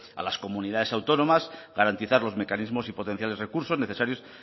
a las comunidades autónomas garantizar los mecanismos y potenciar los recursos necesarios